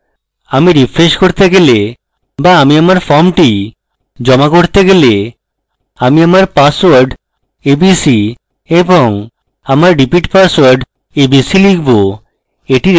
আমি refresh করতে গেলে বা আমি আমার ফর্মটি জমা করতে গেলে আমি আমার পাসওয়ার্ড abc এবং আমার repeat password abc লিখব